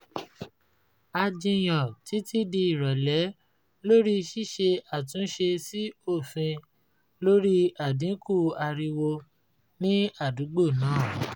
a jiyàn títí di ìrọ̀lẹ́ lórí ṣíṣe àtúnṣe sí òfin lórí àdínkù ariwo ni àdúgbò náà